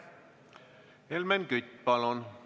Helmen Kütt, palun!